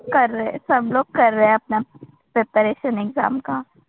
कर रहे हैं. सब लोग कर रहे हैं अपना प्रिपरेशन एक्झाम का.